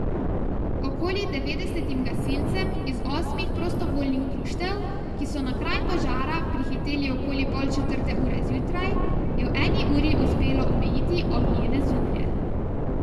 Okoli devetdesetim gasilcem iz osmih prostovoljnih društev, ki so na kraj požara prihiteli okoli pol četrte ure zjutraj, je v eni uri uspelo omejiti ognjene zublje.